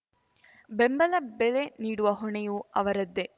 ಬೆಂಬಲ ಬೆಲೆ ನೀಡುವ ಹೊಣೆಯೂ ಅವರದ್ದೇ